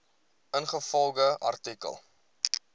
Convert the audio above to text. ingevolge artikel